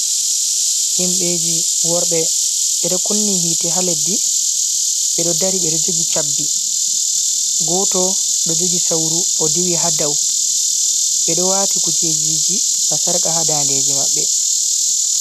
Himɓeji worɓe ɓeɗo kunni hiite ha leddi, ɓeɗo dari ɓeɗo jogi cabbi, goto ɗo jogi sauru o diwi hadau, ɓedo wati kujejiji basarka ha dandeji maɓɓe.